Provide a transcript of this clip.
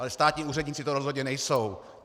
Ale státní úředníci to rozhodně nejsou.